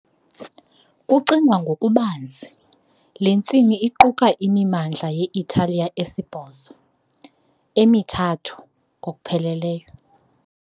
Kucingwa ngokubanzi, le ntsimi iquka imimandla ye-Italiya esibhozo, emithathu ngokupheleleyo.